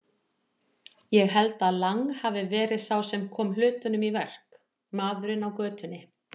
Ég held að Lang hafi verið sá sem kom hlutunum í verk, maðurinn á götunni.